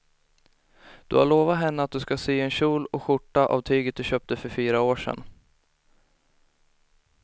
Du har lovat henne att du ska sy en kjol och skjorta av tyget du köpte för fyra år sedan.